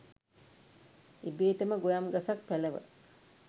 ඉබේටම ගොයම් ගසක් පැලව